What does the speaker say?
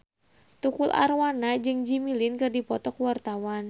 Tukul Arwana jeung Jimmy Lin keur dipoto ku wartawan